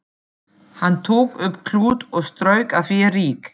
Hann tók upp klút og strauk af því ryk.